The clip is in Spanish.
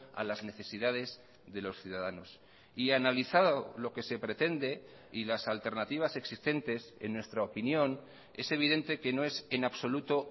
a las necesidades de los ciudadanos y analizado lo que se pretende y las alternativas existentes en nuestra opinión es evidente que no es en absoluto